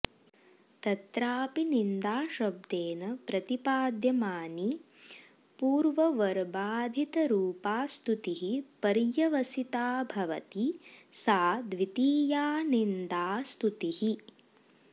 तत्राऽपि निन्दाशब्देन प्रतिपाद्यमानी पूर्ववर्बाधितरूपास्तुतिः पर्यवसिता भवति सा द्वितीया निन्दास्तुतिः